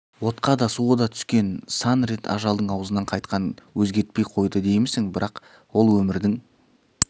отқа да суға да түскен сан рет ажалдың аузынан қайтқан өзгертпей қойды деймісің бірақ ол өмірдің